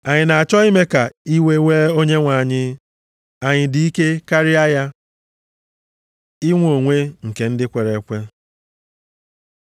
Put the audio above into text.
Anyị na-achọ ime ka iwe wee Onyenwe anyị? Anyị dị ike karịa ya? Inwe onwe nke ndị kwere ekwe